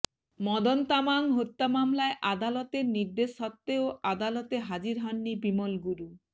মদন তামাং হত্যা মামলায় আদালাতের নির্দেশ সত্ত্বেও আদালতে হাজির হননি বিমল গুরু